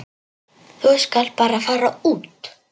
Þú skalt bara fara út.